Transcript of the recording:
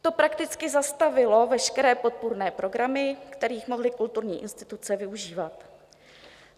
To prakticky zastavilo veškeré podpůrné programy, kterých mohly kulturní instituce využívat.